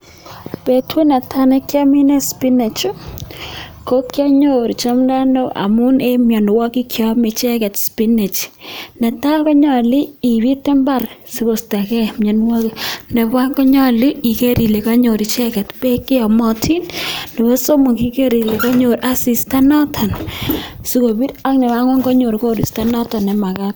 Betut netaa nekiomine spinach ko kionyoru chomdono amun en mionwokik cheome icheket spinach, netaa konyolu ibiit imbar sikostokee mionwokik, nebo oeng konyolu iker ilee konyor icheket beek cheyomotin nebo somok iker ilee konyor asista noton sikobir ak nebo ang'wan konyor koristo noton nemakat.